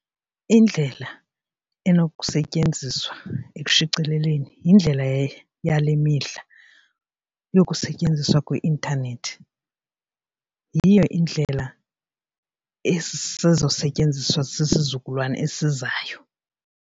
Indlela enokusetyenziswa ekushicileleni yindlela yale mihla yokusetyenziswa kwe-intanethi. Yiyo indlela esezosetyenziswa sisizukulwana esizayo.